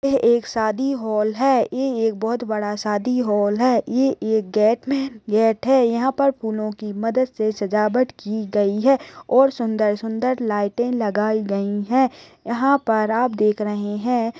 शादी हॉल है ये एक बहुत बड़ा शादी हॉल है ये एक गेट में गेट है यहाँ पर फूलों की मदद से सजावट की गई है और सुंदर- सुंदर लाइटे लगाई गई है यहाँ पर आप देख रहे है।